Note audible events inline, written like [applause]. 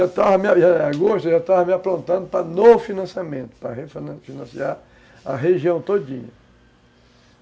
[unintelligible] agosto eu já estava me aprontando para novo financiamento, para refinanciar a região todinha.